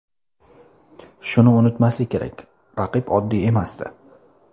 Shuni unutmaslik kerak, raqib oddiy emasdi.